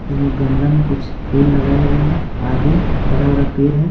इसमें गमला में कुछ फूल लगाया हुआ है आगे बड़ा-बड़ा पेर है।